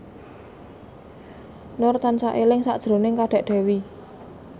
Nur tansah eling sakjroning Kadek Devi